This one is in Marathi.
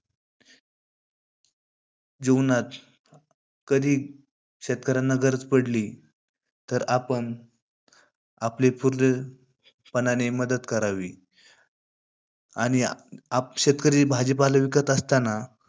जीवनात कधी शेतकऱ्यांना गरज पडली, तर आपण आपले पूर्णपणाने मदत करावी. आणि आप शेतकरी भाजीपाले विकत असतांना